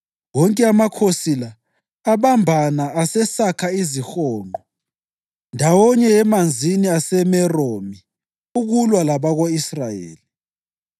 Wonke amakhosi la abambana asesakha izihonqo ndawonye eManzini aseMeromi, ukulwa labako-Israyeli.